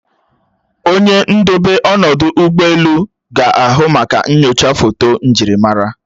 Onye ndobe ọnọdụ ụgbọelu ga-ahụ maka nnyocha foto njirimara